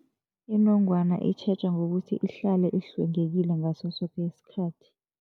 Inongwana itjhejwa ngokuthi ihlale ihlwengekile ngaso soke isikhathi.